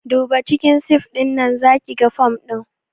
Duba cikin sif ɗinnan zakiga fom ɗin